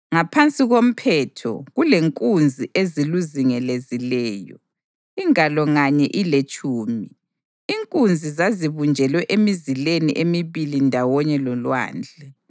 Ngaphansi komphetho, kulenkunzi eziluzingelezileyo, ingalo nganye iletshumi. Inkunzi zazibunjelwe emizileni emibili ndawonye loLwandle.